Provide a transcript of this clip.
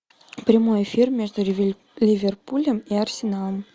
прямой эфир между ливерпулем и арсеналом